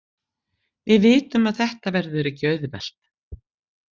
Við vitum að þetta verður ekki auðvelt.